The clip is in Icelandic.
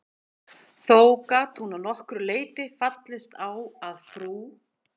Þó gat hún að nokkru leyti fallist á að frú